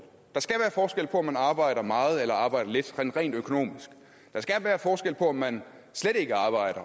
på om man arbejder meget eller arbejder lidt sådan rent økonomisk der skal være forskel på om man slet ikke arbejder